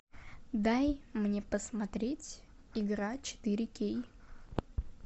дай мне посмотреть игра четыре кей